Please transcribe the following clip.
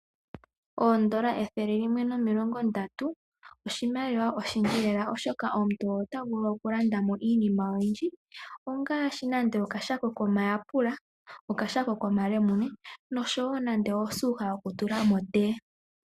Oondola ethele limwe nomilongo ndatu oshimaliwa oshindji lela molwaashoka omuntu otavulu okulanda mo iinima oyindji, ngaashi nando okashako komayapula, okashako komalemuna nosuuka yokutula motee.